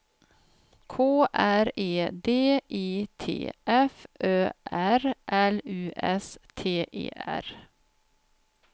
K R E D I T F Ö R L U S T E R